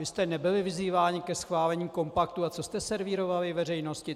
Vy jste nebyli vyzýváni ke schválení kompaktu, a co jste servírovali veřejnosti.